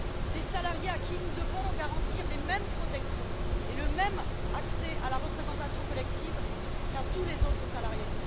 Des salariés à qui nous devons garantir les mêmes protections et le même accès à la représentation collective qu'à tous les autres salariés.